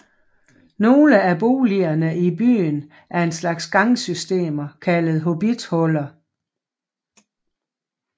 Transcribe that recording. Nogle af boligerne i byen er en slags gangsystemer kaldet hobbithuller